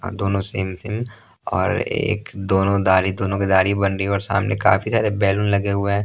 अह दोनों same same और एक दोनों दाढ़ी दोनों की दाढ़ी बन रही है और सामने काफी सारे बैलून लगे हुए हैं ।